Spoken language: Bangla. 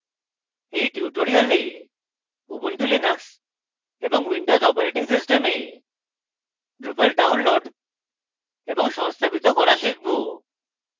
in tutorial ubuntu linux এবং windows operating systems drupal download এবং সংস্থাপিত করা শিখব